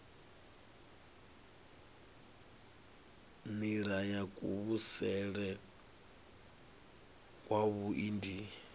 nila ya kuvhusele kwavhui ndi